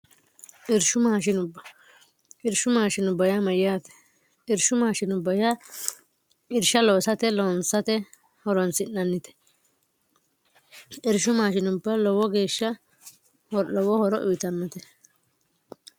irshu mashinubba irsh si mayyaate irsh suy irsh looste lonsate horonsi'nannite irsh mshinub lowo geeshsha lowo horo uyitanmote